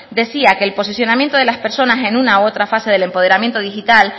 decía que el posicionamiento de las personas en una u otra fase del empoderamiento digital